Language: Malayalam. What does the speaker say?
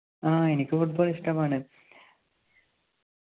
ആഹ് എനിക്ക് Football ഇഷ്ടമാണ്